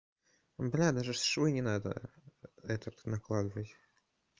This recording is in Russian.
бля даже швы не надо этот накладывать